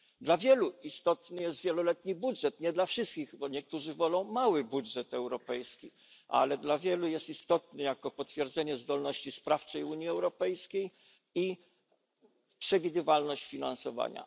Dla wielu istotny jest wieloletni budżet nie dla wszystkich, bo niektórzy wolą mały budżet europejski ale dla wielu jest istotny jako potwierdzenie zdolności sprawczej Unii Europejskiej i przewidywalność finansowania.